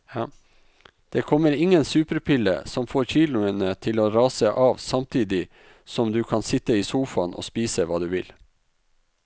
Det kommer ingen superpille som får kiloene til å rase av samtidig som du kan sitte i sofaen og spise hva du vil.